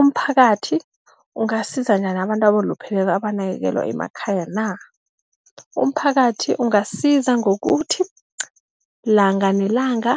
Umphakathi ungasiza njani abantu abalupheleko abanakekelwa emakhaya na? Umphakathi ungasiza ngokuthi ilanga nelanga